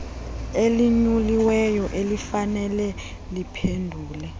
elinyuliweyo elifanele liphendule